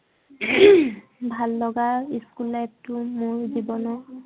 ভাল লগা school life টো মোৰ জীৱনৰ